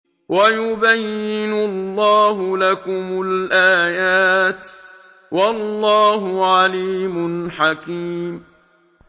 وَيُبَيِّنُ اللَّهُ لَكُمُ الْآيَاتِ ۚ وَاللَّهُ عَلِيمٌ حَكِيمٌ